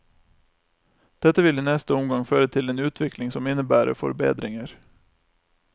Dette vil i neste omgang føre til en utvikling som innebærer forbedringer.